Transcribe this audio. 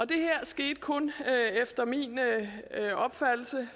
det her skete efter min opfattelse